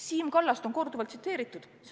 Siim Kallast on korduvalt tsiteeritud.